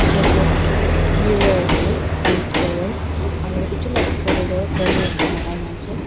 gate toh mirror ase transparent aro edu la opor tae toh banner ekta lakai na ase.